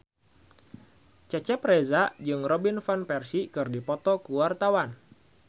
Cecep Reza jeung Robin Van Persie keur dipoto ku wartawan